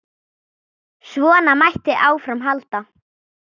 Svona mætti áfram halda.